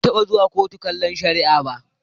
Ban taɓa zuwa kotu kallon shari'a ba.